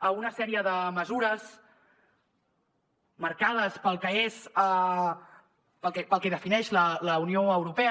a una sèrie de mesures marcades pel que defineix la unió europea